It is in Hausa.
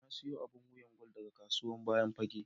Na siya abun wiya na gwal daga kasuwan bayan fage.